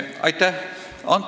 Aitäh!